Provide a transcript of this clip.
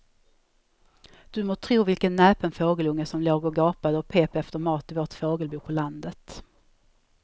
Du må tro vilken näpen fågelunge som låg och gapade och pep efter mat i vårt fågelbo på landet.